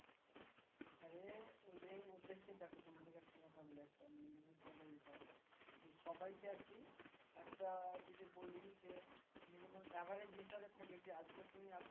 আরে ওদেরকে দেখো তোমাদিকে একটা কথা বলি সবাইকে আরকি একটা যদি বলি যে minimum average হিসাবে থাকে যে আজকে তুমি এতো